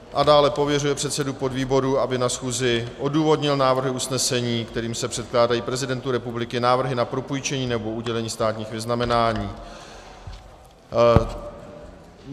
A dále, pověřuje předsedu podvýboru, aby na schůzi odůvodnil návrhy usnesení, kterými se předkládají prezidentu republiky návrhy na propůjčení nebo udělení státních vyznamenání.